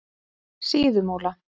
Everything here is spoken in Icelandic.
Síðumúla